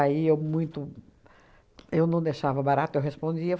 Aí muito eu não deixava barato, eu respondia.